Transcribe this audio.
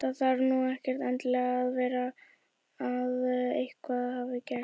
Það þarf nú ekkert endilega að vera að eitthvað hafi gerst.